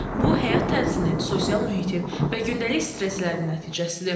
Bu həyat tərzinin, sosial mühitin və gündəlik stresslərin nəticəsidir.